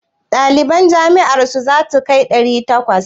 Ɗaliban jami'ar ku zasu kai ɗari takwas?